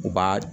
U b'a